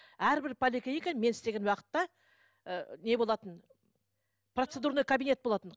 әрбір поликлиникада мен істеген уақытта ыыы не болатын процедурный кабинет болатын